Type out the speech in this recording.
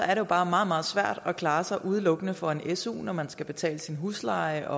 er det bare meget meget svært at klare sig udelukkende for en su når man skal betale sin husleje